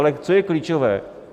Ale co je klíčové?